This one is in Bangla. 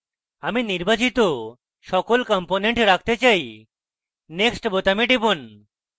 আমি নির্বাচিত সকল components রাখতে চাই next বোতামে টিপুন